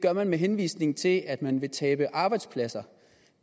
er man med henvisning til at man vil tabe arbejdspladser